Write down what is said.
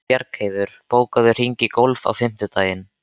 Bjargheiður, bókaðu hring í golf á fimmtudaginn.